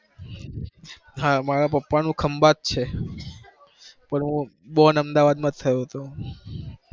હા માર પપ્પાનું ખંભાત છે, પણ હું born અમદાવાદ માં થયો તો,